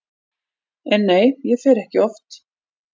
En nei, ég fer ekki oft.